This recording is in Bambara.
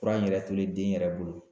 Kura in yɛrɛ toli den yɛrɛ bolo